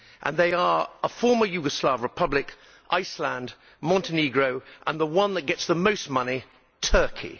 They are a former Yugoslav Republic, Iceland, Montenegro, and the one that gets the most money Turkey.